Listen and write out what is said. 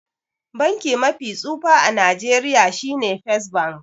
Banki mafi tsufa a Nigeria shine first bank.